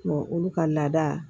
olu ka laada